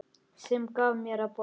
Sem gaf mér að borða.